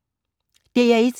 DR1